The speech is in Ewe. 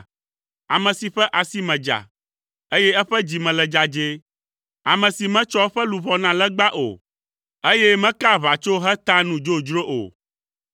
Ame si ƒe asi me dza, eye eƒe dzi me le dzadzɛe, ame si metsɔ eƒe luʋɔ na legba o, eye mekaa aʋatso heta nu dzodzro o.